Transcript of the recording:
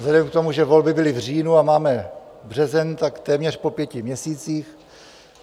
Vzhledem k tomu, že volby byly v říjnu a máme březen, tak téměř po pěti měsících.